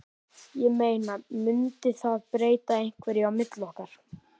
Ég meina. mundi það breyta einhverju á milli okkar.